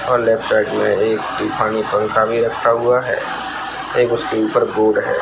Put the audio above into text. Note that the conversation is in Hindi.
और लेफ्ट साइड में तूफानी पंखा रखा हुआ है एक उसके ऊपर बोर्ड है।